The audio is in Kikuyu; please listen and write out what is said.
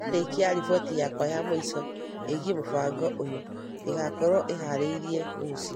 Ndĩrarĩkia riboti yakwa ya mũico ĩgiĩ mũbango ũyũ, ĩgaakorũo ĩharĩirie rũciũ